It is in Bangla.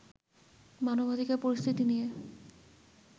মানবাধিকার পরিস্থিতি নিয়ে